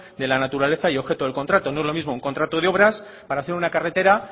de la naturaleza y objeto del contrato no es lo mismo un contrato de obras para hacer una carretera